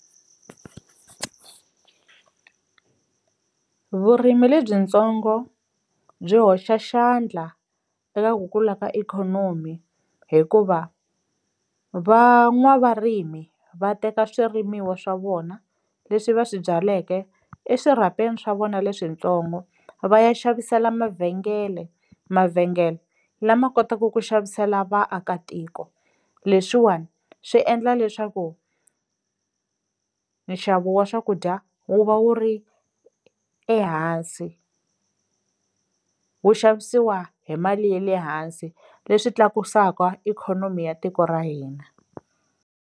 Vurimi lebyitsongo byi hoxa xandla eka ku kula ka ikhonomi hikuva van'wavarimi va teka swirimiwa swa vona leswi va swi byaleke eswirhapeni swa vona leswintsongo va ya xavisela mavhengele, mavhengele lama kotaka ku xavisela vaakatiko leswiwani swi endla leswaku nxavo wa swakudya wu va wu ri ehansi, wu xavisiwa hi mali ye le hansi leswi tlakusaka ikhonomi ya tiko ra hina.